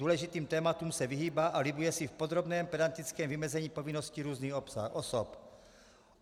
Důležitým tématům se vyhýbá a libuje si v podrobném pedantickém vymezení povinností různých osob.